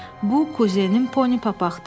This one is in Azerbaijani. Bu kuzenin Poni papaqdır.